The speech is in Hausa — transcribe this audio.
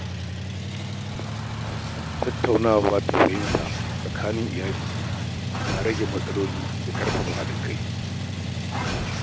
Tattaunawa ta fahimta tsakanin iyali na rage matsaloli da ƙarfafa haɗin kai.